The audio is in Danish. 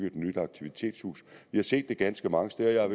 et nyt aktivitetshus vi har set det ganske mange steder jeg har